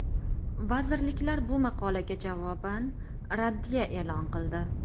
Vazirliklar bu maqolaga javoban raddiya e’lon qildi.